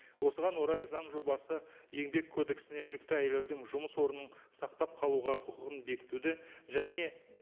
осыған орай заң жобасы еңбек кодексіне жүкті әйелдердің жұмыс орнын сақтап қалуға құқығын бекітуді және